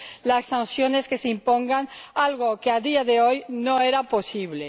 las sanciones que se impongan, algo que a día de hoy no era posible.